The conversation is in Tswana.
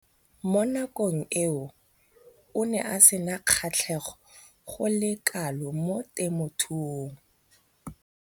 Mo nakong eo o ne a sena kgatlhego go le kalo mo temothuong.